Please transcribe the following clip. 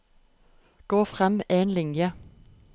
Gå frem én linje